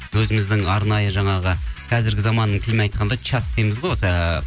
өзіміздің арнайы жаңағы қазіргі заманның тілімен айтқанда чат дейміз ғой осы